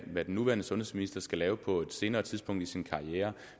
hvad den nuværende sundhedsminister skal lave på et senere tidspunkt i sin karriere